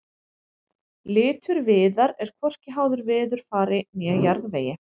litur viðar er hvorki háður veðurfari né jarðvegi